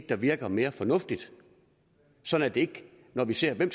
der virker mere fornuftigt sådan at det ikke når man ser hvem